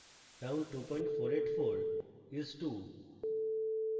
round 2484 is 20